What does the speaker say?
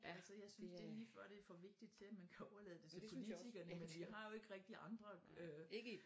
Altså jeg synes det er lige før det er for vigtigt til at man kan overlade det til politikerne men vi har jo ikke rigtigt andre øh